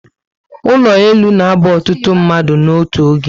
Ụlọ elu na aba ọtụtụ mmadụ n'otu oge